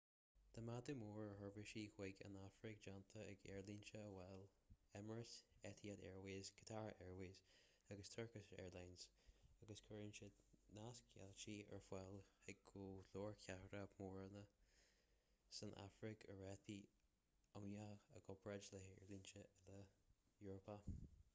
tá méadú mór ar sheirbhísí chuig an afraic déanta ag aerlínte amhail emirates etihad airways qatar airways & turkish airlines agus cuireann siad nasceitiltí ar fáil chuig go leor cathracha móra san afraic ar rátaí iomaíocha i gcomparáid le haerlínte eile eorpacha